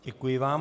Děkuji vám.